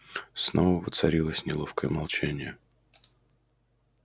снова воцарилось неловкое молчание